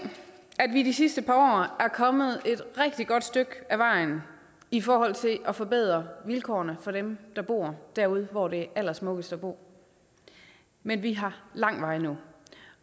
at vi de sidste par år er kommet et rigtig godt stykke ad vejen i forhold til at forbedre vilkårene for dem der bor derude hvor det er allersmukkest at bo men vi har lang vej endnu